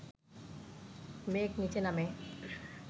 মেঘ নিচে নামে